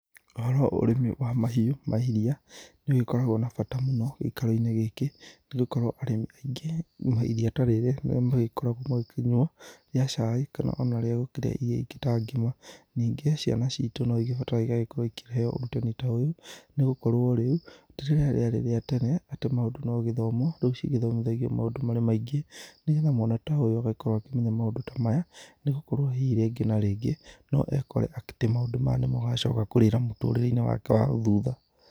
Ũhoro wa ũrĩmi wa mahiũ ma iria nĩ ũgĩkoragwo na bata mũno gĩikaro-inĩ gĩkĩ, nĩ gũkorwo arĩmi aingĩ iria ta rĩrĩ nĩ rĩo magĩkoragwo magĩkĩnyua rĩa cai kana ona rĩa gũkĩria irio ingĩ ta ngima. Ningĩ ciana citu no igibataraga igagĩkorwo ikĩheo ũrutani ta ũyũ, nĩ gũkorwo rĩu ti rĩrĩa rĩarĩ rĩa tene atĩ maũndũ no gĩthomo. Rĩu cigĩthomithagio maũndũ marĩ maingĩ, nĩgetha mwana ta ũyũ agagĩkorwo akĩmenya maũndũ ta maya, nĩ gũgĩkorwo hihi rĩngĩ na rĩngĩ no ekore ekĩte maũndũ maya, nĩ mo agacoka kũrĩra mũtũrĩre-inĩ wake wa thutha.